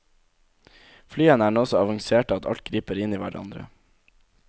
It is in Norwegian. Flyene er nå så avanserte at alt griper inn i hverandre.